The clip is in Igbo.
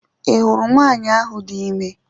I hụrụ nwanyị ahụ dị ime